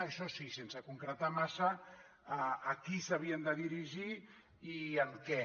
això sí sense concretar massa a qui s’havien de dirigir i amb què